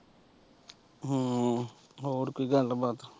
ਹਮ ਹੋਰ ਕੋਈ ਗੱਲਬਾਤ।